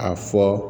A fɔ